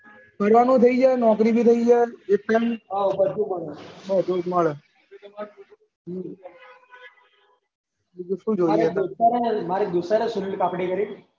બીજું શું જોયીયે મારે દોસ્તાના છે એ મારે દોસ્ત સુનીલ પાપડી કરીને